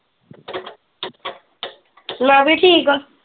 ਮੈ ਵੀ ਠੀਕ ਆ।